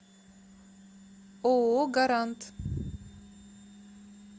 ооо гарант